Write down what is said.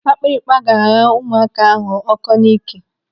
Akpịrịkpa ga-agha ụmụaka ahụ ọkọ n'ike.